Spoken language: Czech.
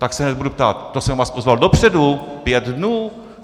Tak se hned budu ptát, to jsem vás pozval dopředu, pět dnů!